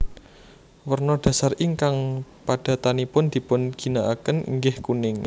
Werna dhasar ingkang padatanipun dipun ginakaken inggih kuning